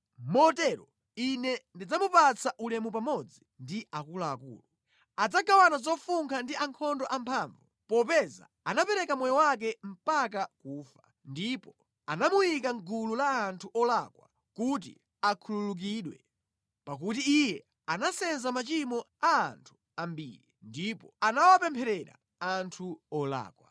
Motero Ine ndidzamupatsa ulemu pamodzi ndi akuluakulu, adzagawana zofunkha ndi ankhondo amphamvu, popeza anapereka moyo wake mpaka kufa, ndipo anamuyika mʼgulu la anthu olakwa kuti akhululukidwe. Pakuti iye anasenza machimo a anthu ambiri, ndipo anawapempherera anthu olakwa.